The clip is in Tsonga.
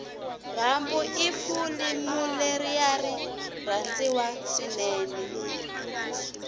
rambo ifulimuleriari rhandziwa swinene